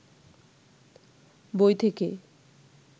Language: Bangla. বই থেকে